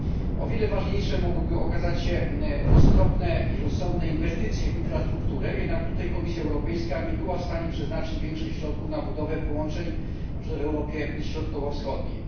O wiele ważniejsze mogłyby okazać się roztropne i rozsądne inwestycje w infrastrukturę, jednak tutaj Komisja Europejska nie była w stanie przeznaczyć większych środków na budowę połączeń, na przykład w Europie Środkowo Wschodniej.